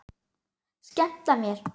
Skemmta mér?